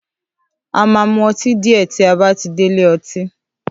À máa mú õtí dìé tí a bátí dè ìlé õtí